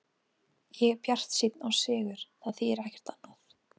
Ég er bjartsýnn á sigur, það þýðir ekkert annað.